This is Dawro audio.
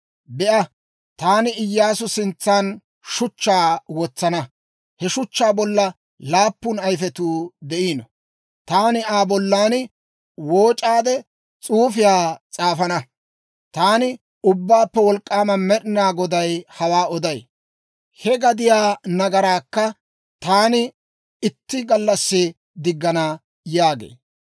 Be'a, taani Iyyaasu sintsan shuchchaa wotsana; he shuchchaa bollaa laappun ayifetuu de'iino; taani Aa bollan wooc'aade s'uufiyaa s'aafana. Taani Ubbaappe Wolk'k'aama Med'inaa Goday hawaa oday. He gadiyaa nagaraakka taani itti gallassi diggana› yaagee.